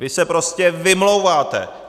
Vy se prostě vymlouváte!